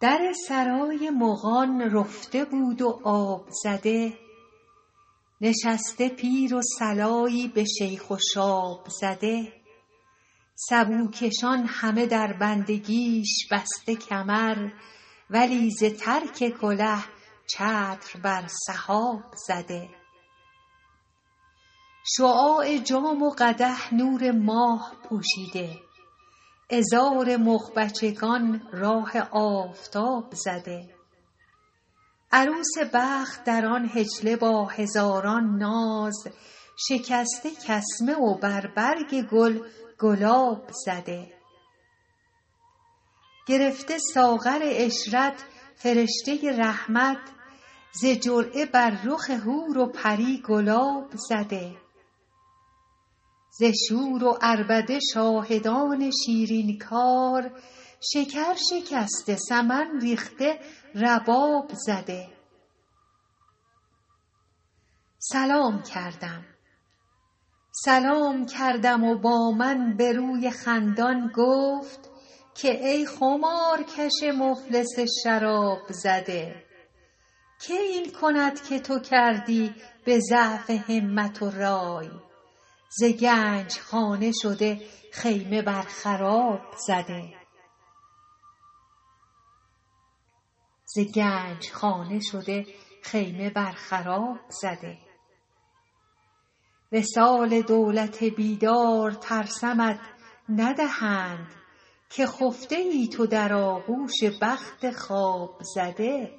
در سرای مغان رفته بود و آب زده نشسته پیر و صلایی به شیخ و شاب زده سبوکشان همه در بندگیش بسته کمر ولی ز ترک کله چتر بر سحاب زده شعاع جام و قدح نور ماه پوشیده عذار مغ بچگان راه آفتاب زده عروس بخت در آن حجله با هزاران ناز شکسته کسمه و بر برگ گل گلاب زده گرفته ساغر عشرت فرشته رحمت ز جرعه بر رخ حور و پری گلاب زده ز شور و عربده شاهدان شیرین کار شکر شکسته سمن ریخته رباب زده سلام کردم و با من به روی خندان گفت که ای خمارکش مفلس شراب زده که این کند که تو کردی به ضعف همت و رای ز گنج خانه شده خیمه بر خراب زده وصال دولت بیدار ترسمت ندهند که خفته ای تو در آغوش بخت خواب زده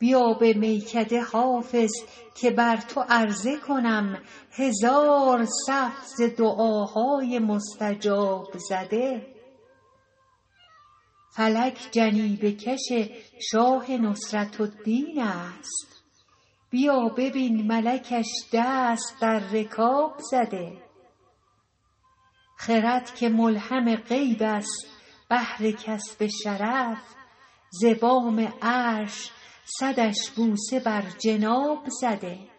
بیا به میکده حافظ که بر تو عرضه کنم هزار صف ز دعاهای مستجاب زده فلک جنیبه کش شاه نصرت الدین است بیا ببین ملکش دست در رکاب زده خرد که ملهم غیب است بهر کسب شرف ز بام عرش صدش بوسه بر جناب زده